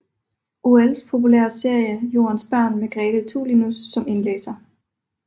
Auels populærer serie Jordens Børn med Grete Tulinius som indlæser